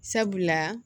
Sabula